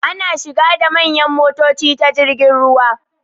Ana shigo da manyan motoci ta jirgin ruwa.